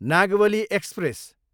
Nagavali express